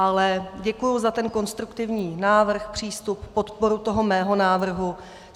Ale děkuji za ten konstruktivní návrh, přístup, podporu toho mého návrhu.